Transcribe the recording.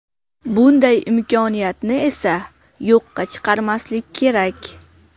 Bunday imkoniyatni esa yo‘qqa chiqarmaslik kerak.